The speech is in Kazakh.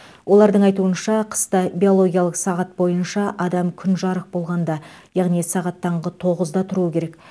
олардың айтуынша қыста биологиялық сағат бойынша адам күн жарық болғанда яғни сағат таңғы тоғызда тұруы керек